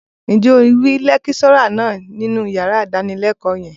Ǹjẹ́ o rí lẹ́kíṣọ́rà náà nínú yàrá ìdánilẹ́kọ̀ọ́ yẹn?